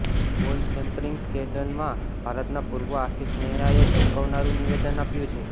બોલ ટેમ્પરિંગ સ્કેન્ડલમાં ભારતના પૂર્વ આશિષ નેહરાએ ચોંકાવનારું નિવેદન આપ્યું છે